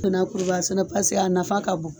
I na kuruba sɛnɛ paseke a nafa ka bon